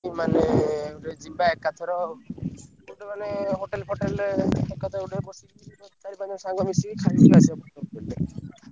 ମାନେ ଗୋଟେ ଯିବା ଏକାଥର ଗୋଟେ ମାନେ hotel ଫୋଟେଲରେ ଏକାଥରେ ଗୋଟେ ପଶିକି ଚାରି ପାଞ୍ଚ ଜଣ ସାଙ୍ଗ ମିଶିକି ଖାଇକି ଆସିଆକୁ ।